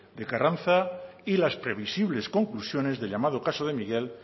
de carranza y las previsibles conclusiones del llamado caso de miguel